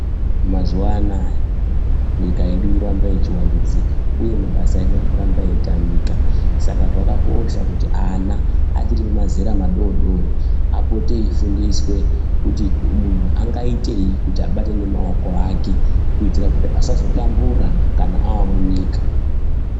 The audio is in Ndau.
Mazuwanaya nyika yedu yoramba ichiwandudzika uye mabasa edu arikuramba eyitamika, saka zvakakosha kuti ana achiri pamazera madodori apote eyifundiswe kuti munhu angaitei kuti abate nemaoko ake kuitira kuti asazotambura kana avamunyika.